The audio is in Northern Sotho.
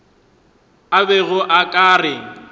a bego a ka re